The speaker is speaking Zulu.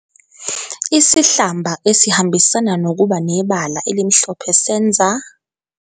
Isihlamba esihambisana nokuba nebala elimhlophe senza.